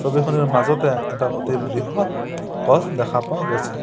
ছবিখনৰ মাজতে এটা অতি বৃহৎ গছ দেখা পোৱা গৈছে।